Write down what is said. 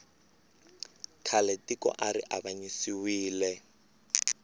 khale tiko ari avanyisiwile